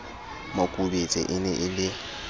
makubetse e ne e le